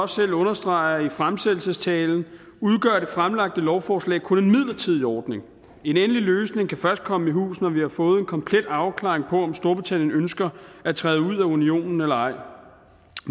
selv understreger i fremsættelsestalen udgør det fremlagte lovforslag kun en midlertidig ordning en endelig løsning kan først komme i hus når vi har fået en komplet afklaring på om storbritannien ønsker at træde ud af unionen eller ej at